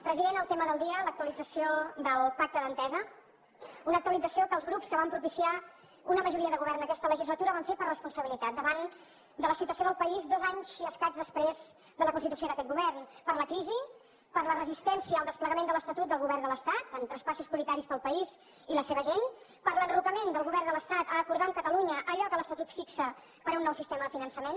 president el tema del dia l’actualització del pacte d’entesa una actualització que els grups que van propiciar una majoria de govern aquesta legislatura ho van fer per responsabilitat davant de la situació del país dos anys i escaig després de la constitució d’aquest govern per la crisi per la resistència al desplegament de l’estatut del govern de l’estat en traspassos prioritaris per al país i la seva gent per l’enrocament del govern de l’estat a acordar amb catalunya allò que l’estatut fixa per a un nou sistema de finançament